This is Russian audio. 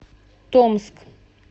томск